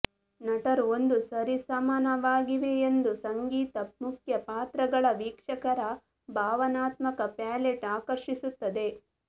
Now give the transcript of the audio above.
ನಟರು ಒಂದು ಸರಿಸಮಾನವಾಗಿವೆಯೆಂದು ಸಂಗೀತ ಮುಖ್ಯ ಪಾತ್ರಗಳ ವೀಕ್ಷಕರ ಭಾವನಾತ್ಮಕ ಪ್ಯಾಲೆಟ್ ಆಕರ್ಷಿಸುತ್ತದೆ